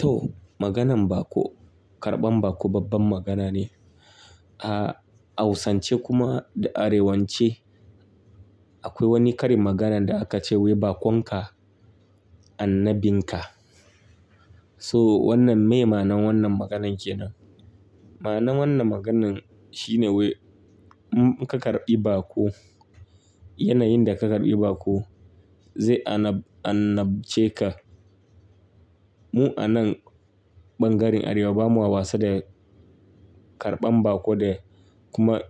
To, maganan baƙo, karɓan baƙo babban magana ne. A hausance kuma da arewance akwai wani karin maganan da aka ce wai, "Baƙon ka annabin ka." So wannan me ma'anan wannan maganan kenan? Ma'anan wannan maganin shine wai, in ka karɓi baƙo, yanayin da ka karɓi baƙo zai an-annabce ka. Mu a nan ɓangaren Arewa ba ma wasa da karɓan baƙo da kuma